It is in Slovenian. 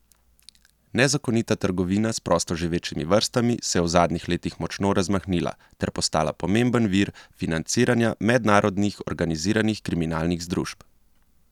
Nezakonita trgovina s prostoživečimi vrstami se je v zadnjih letih močno razmahnila ter postala pomemben vir financiranja mednarodnih organiziranih kriminalnih združb.